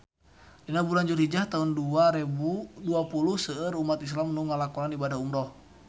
Dina bulan Julhijah taun dua rebu dua puluh seueur umat islam nu ngalakonan ibadah umrah